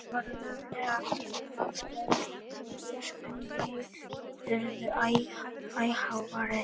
Hann var löglega afsakaður, því öskrin í Maju urðu æ háværari.